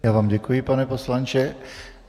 Já vám děkuji, pane poslanče.